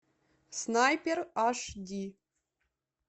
снайпер аш ди